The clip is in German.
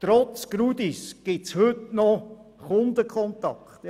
Trotz dem Grundstückdaten-Informationssystem GRUDIS gibt es heute noch Kundenkontakte.